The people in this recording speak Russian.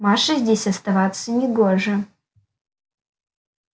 маше здесь оставаться не гоже